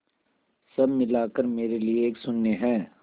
सब मिलाकर मेरे लिए एक शून्य है